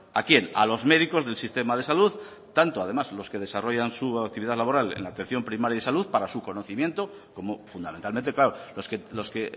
a quién a los médicos del sistema de salud tanto además los que desarrollan su actividad laboral en la atención primaria de salud para su conocimiento como fundamentalmente claro los que